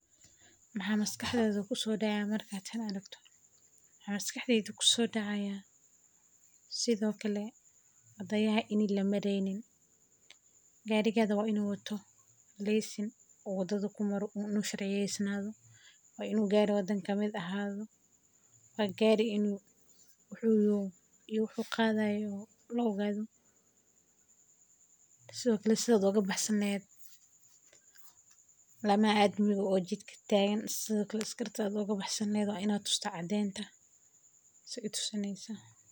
Wxa mxa maskaxda kusodecee marka tan aragto, mxa maskaxdeyda kusodacaya sithi oo kale wadayaha in lamareynin gariga waa inu wato lisin u wada kumaro una sharciyeynaso waninu gari wadanka kamid ah ahado, wa gari wxu yaho iyo wxu qadayo laogado sithi o kale sida oga baxsan lehed lamaha amniga o jidka tagan sithi oo kale askarta o ga baxsan lehed waa ina tusta cadenta stay tusineysa.